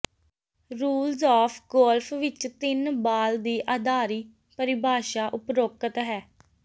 rules of golf ਵਿੱਚ ਤਿੰਨ ball ਦੀ ਆਧਾਰੀ ਪਰਿਭਾਸ਼ਾ ਉਪਰੋਕਤ ਹੈ